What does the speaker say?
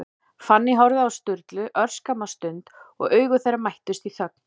Fanný horfði á Sturlu örskamma stund, og augu þeirra mættust í þögn.